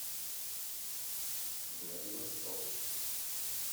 владивосток